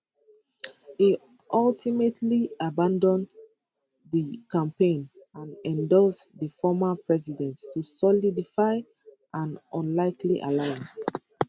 e ultimately abandon di campaign and endorse di former president to solidify an unlikely alliance